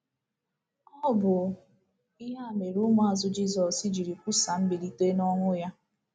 Ọ bụ ihe a mere ụmụazụ Jizọs jiri kwusaa mbilite n’ọnwụ ya!